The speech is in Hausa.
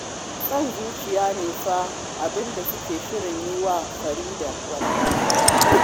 Son zuciya ne fa abin da suke shirin yi wa Farida wallahi